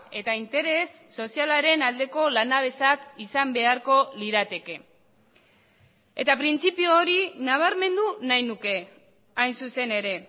eta interes sozialaren aldeko lanabesak izan beharko lirateke eta printzipio hori nabarmendu nahi nuke hain zuzen ere